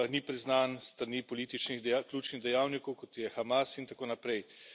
ni priznan s strani političnih, ključnih dejavnikov, kot je Hamas, in tako naprej.